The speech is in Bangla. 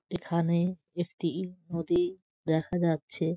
এখানে একটি ই নদী দেখা যাচ্ছে।